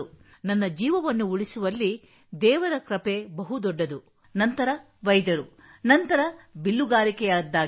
ನನ್ನ ಜೀವವನ್ನು ಉಳಿಸುವಲ್ಲಿ ದೇವರ ಕೃಪೆ ಬಹು ದೊಡ್ಡದು ನಂತರ ವೈದ್ಯರು ನಂತರ ಬಿಲ್ಲುಗಾರಿಕೆಯದ್ದಾಗಿದೆ